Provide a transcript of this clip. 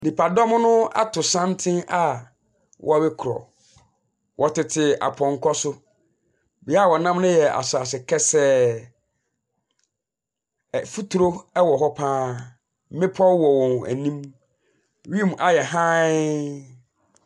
Nipadɔm no ato santene a wɔrekorɔ. Wɔtete apɔnkɔ so. Bea a wɔnam no yɛ asase kɛsɛɛ. Mfuturo wɔ hɔ pa ara. Mmepɔ wɔ wɔn anim. Wiem ayɛ hann.